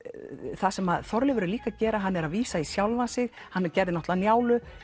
það sem Þorleifur er líka að gera er að vísa í sjálfan sig hann gerði náttúrulega Njálu